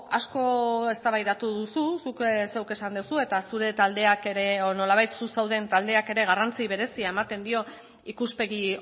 asko eztabaidatu duzu zuk zeuk esan duzu eta zure taldeak ere nolabait zu zauden taldeak ere garrantzi berezia ematen dio ikuspegi